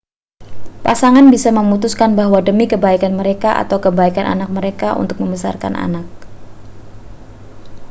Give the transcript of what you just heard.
pasangan bisa memutuskan bahwa demi kebaikan mereka atau kebaikan anak mereka untuk membesarkan anak